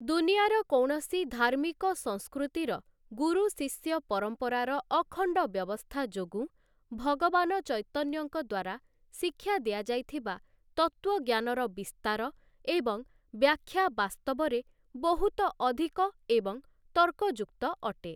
ଦୁନିଆର କୌଣସି ଧାର୍ମିକ ସଂସ୍କୃତିର ଗୁରୁ ଶିଷ୍ୟ ପରମ୍ପରାର ଅଖଣ୍ଡ ବ୍ୟବସ୍ଥା ଯୋଗୁଁ ଭଗବାନ ଚୈତନ୍ୟଙ୍କ ଦ୍ଵାରା ଶିକ୍ଷା ଦିଆଯାଇଥିବା ତତ୍ତ୍ଵଜ୍ଞାନର ବିସ୍ତାର ଏବଂ ବ୍ୟାଖ୍ୟା ବାସ୍ତବରେ ବହୁତ ଅଧିକ ଏବଂ ତର୍କଯୁକ୍ତ ଅଟେ ।